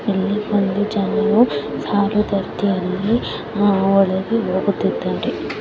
ಇಲ್ಲಿ ಬಂದು ಜನರು ಸಾಲು ರೀತಿ ಒಳಗೆ ಹೋಗುತ್ತಿದ್ದ್ದಾರೆ.